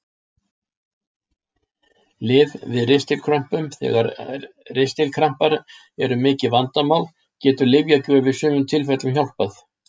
Lyf við ristilkrömpum Þegar ristilkrampar eru mikið vandamál getur lyfjagjöf í sumum tilfellum hjálpað.